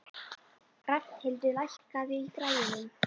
Rafnhildur, lækkaðu í græjunum.